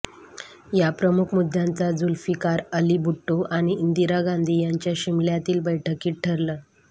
या प्रमुख मुद्द्यांचा झुल्फिकार अली भुट्टो आणि इंदिरा गांधी यांच्या शिमल्यातील बैठकीत ठरलं